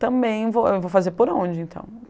Também, vou eu vou fazer por onde, então?